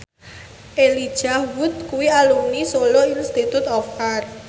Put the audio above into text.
Elijah Wood kuwi alumni Solo Institute of Art